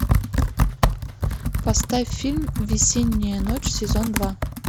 поставь фильм весенняя ночь сезон два